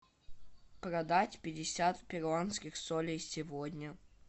продать пятьдесят перуанских солей сегодня